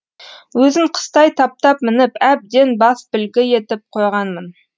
өзін қыстай таптап мініп әбден басбілгі етіп қойғанмын